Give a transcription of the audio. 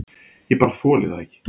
Ég bara þoli það ekki.